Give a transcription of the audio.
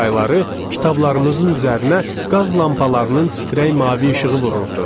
Qış ayları kitablarımızın üzərinə qaz lampalarının titrək mavi işığı vururdu.